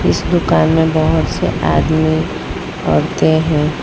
इस दुकान में बहुत से आदमी औरतें हैं।